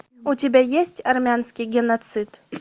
у тебя есть армянский геноцид